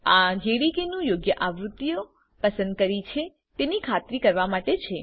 આ જેડીકે નું યોગ્ય આવૃત્તિઓ પસંદ કરી છે તેની ખાતરી કરવા માટે છે